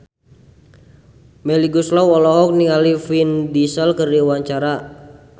Melly Goeslaw olohok ningali Vin Diesel keur diwawancara